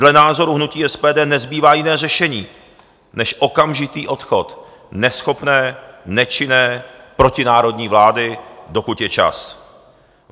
Dle názoru hnutí SPD nezbývá jiné řešení než okamžitý odchod neschopné, nečinné, protinárodní vlády, dokud je čas.